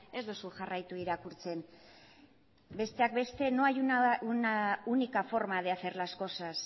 ez duzu jarraitu irakurtzen besteak beste no hay una única forma de hacer las cosas